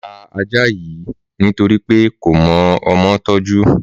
Màá ta ajá yill nítorí pé kò mọ ọmọ tọ́jú